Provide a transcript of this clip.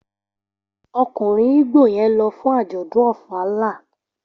Okunrin igbo yen lo fun ajodun ofala.